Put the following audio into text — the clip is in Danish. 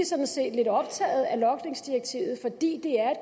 sådan set lidt optaget af logningsdirektivet fordi det er